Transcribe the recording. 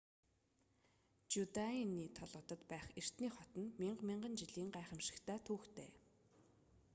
жюдеаны толгодод байх эртний хот нь мянга мянган жилийн гайхамшигт түүхтэй